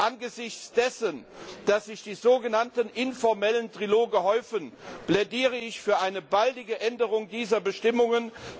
Angesichts dessen, dass sich die sogenannten informellen Triloge häufen, plädiere ich für eine baldige Änderung dieser Bestimmungen.